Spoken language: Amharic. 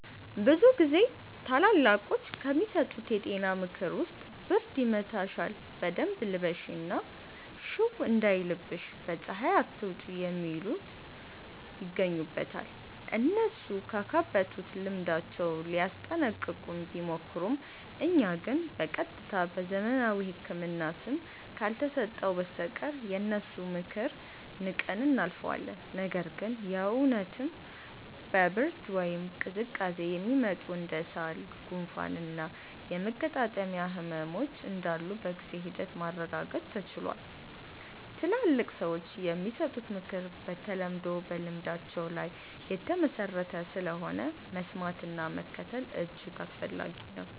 ብዙ ጊዜ ታላላቆች ከሚሰጡን የጤና ምክር ውስጥ ብርድ ይመታሻል በደንብ ልበሺ እና ሽው እንዳይልሽ በ ፀሃይ አትውጪ የሚሉት ይገኙበታል። እነሱ ካካበቱት ልምዳቸው ሊያስጠነቅቁን ቢሞክሩም እኛ ግን በ ቀጥታ በዘመናዊው ህክምና ስም ካልተሰጠው በስተቀር የነሱን ምክር ንቀን እናልፈዋለን። ነገር ግን የ እውነትም በ ብርድ ወይም ቅዝቃዜ የሚመጡ እንደ ሳል፣ ጉንፋን እና የመገጣጠሚያ ህመሞች እንዳሉ በጊዜ ሂደት ማረጋገጥ ተችሏል። ትላልቅ ሰዎች የሚሰጡት ምክር በተለምዶ በልምዳቸው ላይ የተመሠረተ ስለሆነ፣ መስማትና መከተል እጅግ አስፈላጊ ነው።